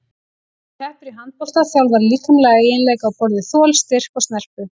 Sú sem keppir í handbolta þjálfar líkamlega eiginleika á borð við þol, styrk og snerpu.